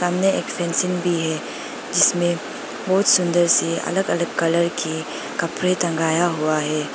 सामने एक फेंसिंग भी है जिसमें बहुत सुंदर से अलग अलग कलर के कपड़े टंगाया हुआ है।